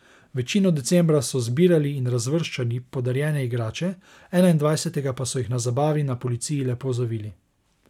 Večino decembra so zbirali in razvrščali podarjene igrače, enaindvajsetega pa so jih na zabavi na policiji lepo zavili.